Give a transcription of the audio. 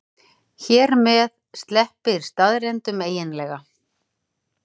Hér með sleppir staðreyndunum eiginlega.